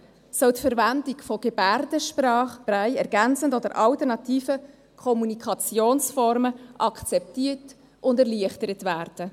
[soll] die Verwendung der Gebärdensprachen, Brailleschrift, ergänzenden und alternativen Kommunikationsformen» akzeptiert und erleichtert werden.